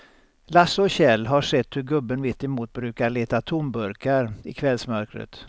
Lasse och Kjell har sett hur gubben mittemot brukar leta tomburkar i kvällsmörkret.